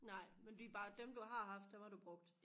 nej men det er bare dem du har haft dem har du brugt